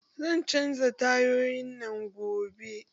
Zan canja tayoyin nan gobe